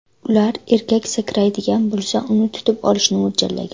Ular erkak sakraydigan bo‘lsa, uni tutib olishni mo‘ljallagan.